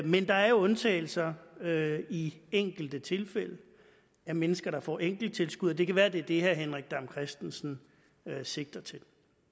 men der er jo undtagelser i enkelte tilfælde for mennesker der får enkelttilskud og det kan være at det er det herre henrik dam kristensen sigter til